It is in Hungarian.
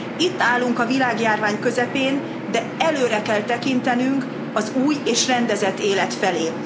Itt állunk a világjárvány közepén, de előre kell tekintenünk az új és rendezett élet felé.